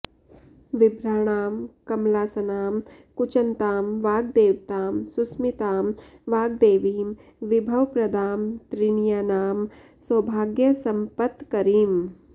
विभ्राणां कमलासनां कुचनतां वाग्देवतां सुस्मितां वाग्देवीं विभवप्रदां त्रिनयनां सौभाग्यसम्पत्करीम्